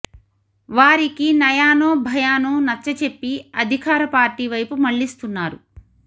వారికి నయానో భయానో నచ్చ చెప్పి అధికార పార్టీ వైపు మళ్లిస్తున్నారు